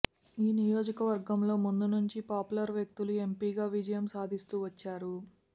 ఈ నియోజకవర్గంలో ముందునుంచి పాపులర్ వ్యక్తులు ఎంపీగా విజయం సాధిస్తూ వచ్చారు